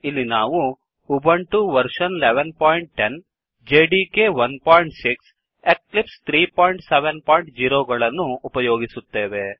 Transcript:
ಇಲ್ಲಿ ನಾವು Ubuntu version 1110 OS Ubuntu operating system ನ ಆವೃತ್ತಿ ೧೧೧೦ Java development kit 16 Java development kit ೧೬ ಹಾಗೂ ಎಕ್ಲಿಪ್ಸ್ 370 ಮತ್ತು ಎಕ್ಲಿಪ್ಸ್ ೩೭೦ ಯನ್ನು ಉಪಯೋಗಿಸುತ್ತೇವೆ